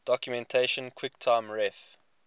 documentation quicktime ref